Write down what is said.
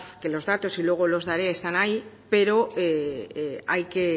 que los datos luego los daré están ahí pero hay que